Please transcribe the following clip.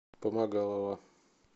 помогалова